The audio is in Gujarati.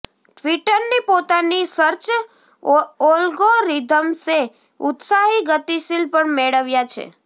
ટ્વિટરની પોતાની સર્ચ એલ્ગોરિધમ્સે ઉત્સાહી ગતિશીલ પણ મેળવ્યા છે